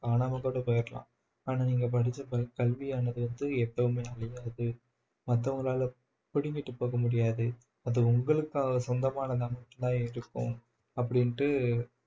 காணாம கூட போயிரலாம் ஆனால் நீங்க படிச்ச ப கல்வியானது வந்து எப்பவுமே அழியாது மத்தவங்களால புடுங்கிட்டு போக முடியாது அது உங்களுக்காக சொந்தமானதாகத்தான் மட்டும் தான் இருக்கும் அப்படின்ட்டு